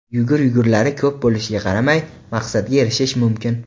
Yugur-yugurlari ko‘p bo‘lishiga qaramay, maqsadga erishish mumkin.